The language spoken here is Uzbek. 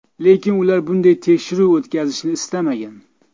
Lekin ular bunday tekshiruv o‘tkazilishini istamagan.